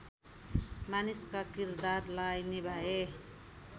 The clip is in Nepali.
मानिसका किरदारलाई निभाए